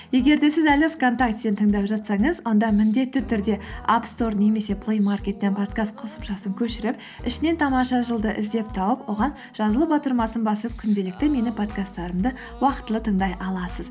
егер де сіз әлі вконтактеден тыңдап жатсаңыз онда міндетті түрде аппстор немесе плеймеаркеттен подкаст қосымшасын көшіріп ішінен тамаша жыл ды іздеп тауып оған жазылу батырмасын басып күнделікті менің подкасттарымды уақытылы тыңдай аласыз